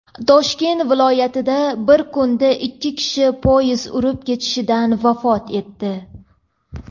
Toshkent viloyatida bir kunda ikki kishi poyezd urib ketishidan vafot etdi.